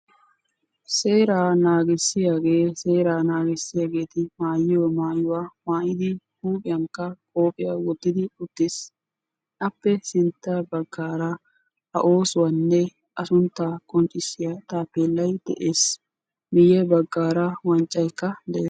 Seeraa naagissiyage seeraa naagissiyageti maayyiyo maayuwa maayyidi huuphiyankka qophiya wottidi uttis appe sintta baggaara a oosuwanne a sunttaa qonccissiya taappeellay de'ees miyye baggaara wanccayikka de'ees